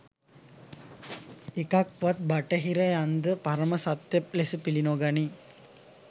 එකක් වත් බටහිරයන්ද පරම සත්‍ය ලෙස පිලි නොගනී